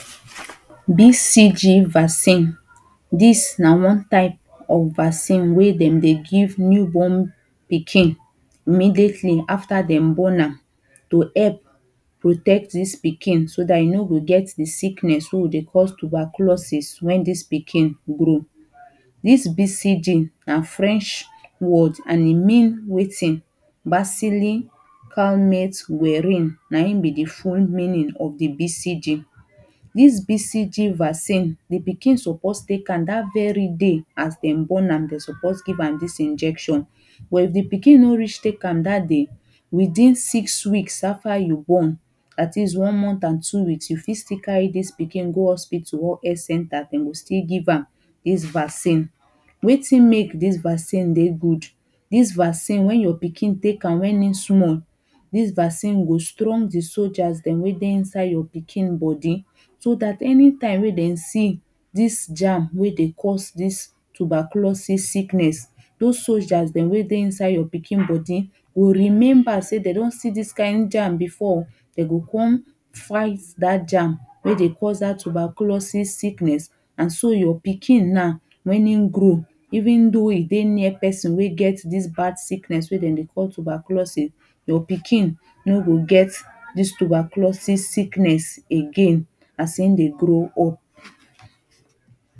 BCG vaccine this na one type of vaccine wey dem dey give new born pikin immediately after dem born am to help help protect this pikin so that e no go get the sickness wey we dey call stuberculosis when this pikin grow. This BCG na french word and e mean wetin Bacilli canmate werin na him be the full meaning of the BCG This BCG vaccine the pikin suppose take am that very day as dem born am dem suppose give am this injection but if the pikin no reach take am that day within six weeks after you born at least one month and two weeks you fit still carry this pikin go hospital or health centre dem go still give am this vaccine. Wetin make Thai vaccine dey good, this vaccine when your pikin take am when him small this vaccine go strong the soldiers dem wey dey inside your pikin body so that anytime wey dem see this germ weydey cause this tuberculosis sickness those soldiers dem wey dey inside your pikin body go remember say dem don see this kind germ before dem go come fight that germ wey dey cause that tuberculosi sickness and so your pikin now when him grow even tho e dey near person wey get this bad bad sickness weydemdey call tuberculosis your pikin no go get this tuberculosis sickness again as in dey grow up